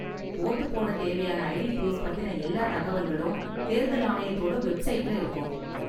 Vote போட தேவையான ID proof பத்தின எல்லா தகவல்களும் தேர்தல் ஆணையத்தோட வெப்சைட்ல இருக்கும்.